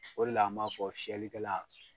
O le la an m'a fɔ fiyɛli kɛla